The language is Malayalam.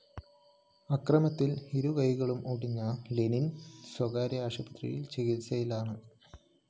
ആക്രമണത്തില്‍ ഇരുകൈകളും ഒടിഞ്ഞ ലെനിന്‍ സ്വകാര്യ ആശുപത്രിയില്‍ ചികിത്സയിലാണ്‌